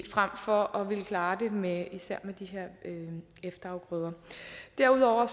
frem for at ville klare det med især de her efterafgrøder derudover